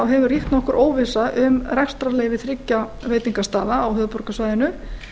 hefur ríkt nokkur óvissa um rekstrarleyfi þriggja veitingastaða á höfuðborgarsvæðinu